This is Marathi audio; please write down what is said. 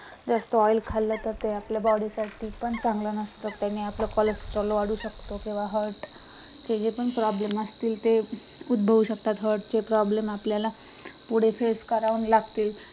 जास्त आडी खाल्लं तर ते आपल्या body साठी पण चांगलं नसते त्याने आपलं cholesterol वाळू शकतो किंवा आपला heart चे जे पण problem असतील ते उदभवू शकतात heart चे problem आपल्याला पुढे face करावं लागतील